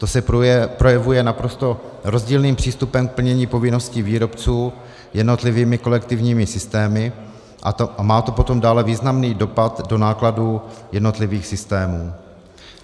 To se projevuje naprosto rozdílným přístupem k plnění povinností výrobců jednotlivými kolektivními systémy a má to potom dále významný dopad do nákladů jednotlivých systémů.